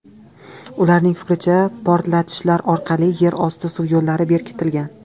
Ularning fikricha, portlatishlar orqali yer osti suv yo‘llari bekitilgan.